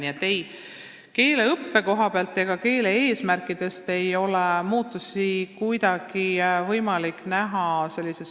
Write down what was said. Nii et ei keeleõppes ega eesmärkides ei ole muutusi kuidagi võimalik näha.